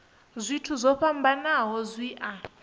zwithu zwo fhambanaho zwi a